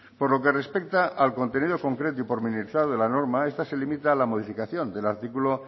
por lo que respecta al contenido concreto y pormenorizado de la norma esta se limita a la modificación del artículo